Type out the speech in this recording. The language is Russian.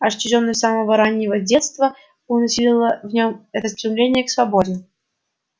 отчуждённость с самого раннего детства от общества ему подобных только усилила в нем это стремление к свободе